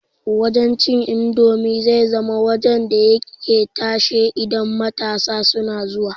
Wajan cin indomi zai zama wajan da yake tashe idan matsa suna zuwa